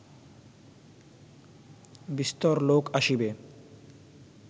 বিস্তর লোক আসিবে